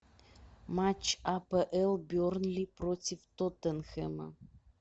матч апл бернли против тоттенхэма